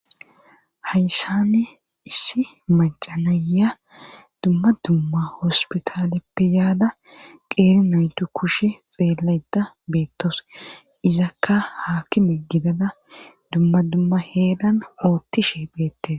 Hayshani issi macanaya dumma dumma hospitaleppe yaada qeeri naytu kushe xeelaeta beettos izakka haakkime gidada dumma dumma heedan oottishe pheette.